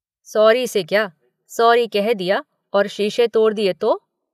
Sorry से क्या, sorry कह दिया और शीशे तोड़ दिए तो।